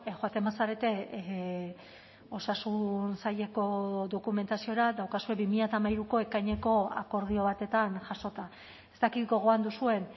joaten bazarete osasun saileko dokumentaziora daukazue bi mila hamairuko ekaineko akordio batetan jasota ez dakit gogoan duzuen